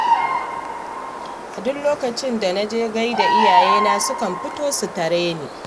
A duk lokacin da na je gai da iyayena sukan fito su tare ni